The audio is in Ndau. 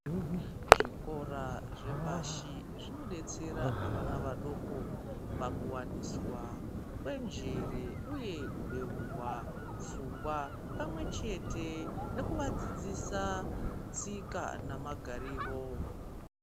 Zvikora zvepashi zvinodetsera vana vadoko pakuwaniswa kwenjere uye kubeurwa pfungwa pamwe chete nekuvadzidzisa tsika namagariro.